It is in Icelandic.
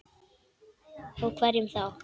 Og hverjum þá?